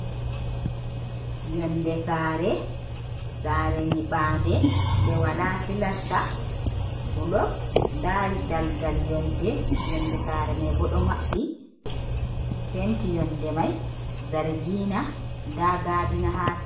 Yonde sare, sare nyiɓa nde, nde wala pilasta bulok, nda daldal yonde, yonde sare mai bo ɗo maɓɓi penti yonde mai zargina nda gadina ha sera.